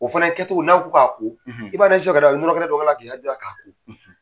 O fɛnɛ kɛ cogo n'a ko k'a ko, i b'a lajɛ sisan ka na nɔnɔ kɛnɛ dɔ k'a la k'i haju k'a ko.